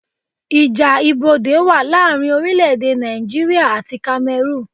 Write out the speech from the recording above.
Ìjà ibodè wa láàrin orílẹ̀ èdè Nàìjíríà àti Kamerun